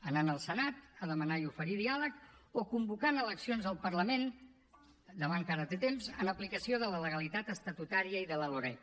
anant al senat a demanar i oferir diàleg o convocant eleccions al parlament demà encara té temps en aplicació de la legalitat estatutària i de la loreg